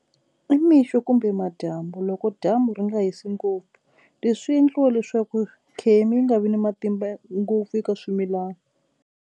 I mixo kumbe madyambu loko dyambu ri nga hisi ngopfu. Leswi endliwa leswaku khemi yi nga vi ni matimba ngopfu eka swimilana.